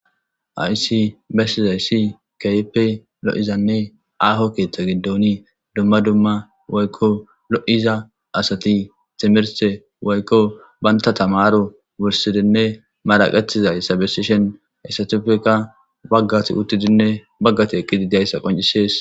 Hayss besiyayss kehippe aho keththa gidon woyikko lo'iza asat timirte woyikko banta tamaro wursidinne maraqatizayssa besishshenne bagati eqidayssanne bagat utidayissa besses